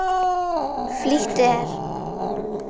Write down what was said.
Flýttu þér.